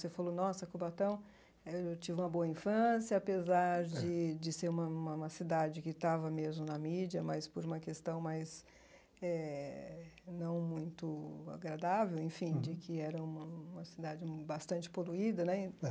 Você falou, nossa, Cubatão, eu tive uma boa infância, apesar de de ser uma uma uma cidade que estava mesmo na mídia, mas por uma questão mais eh não muito agradável, enfim, de que era uma uma cidade bastante poluída né.